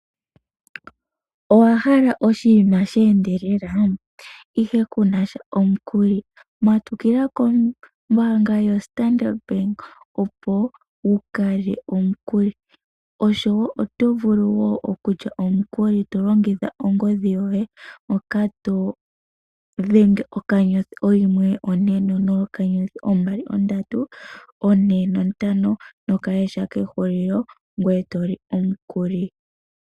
Owa hala oshinima she endelela ihe ku na sha omukuli? Matukila kombaanga yoStandard Bank opo wu kalye omukuli. Oto vulu wo okulya omukuli to longitha ongodhi yoye moka to dhenge *140*2345#